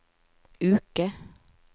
uke